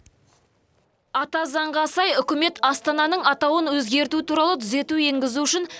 ата заңға сай үкімет астананың атауын өзгерту туралы түзету енгізу үшін